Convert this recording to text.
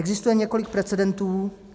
Existuje několik precedentů.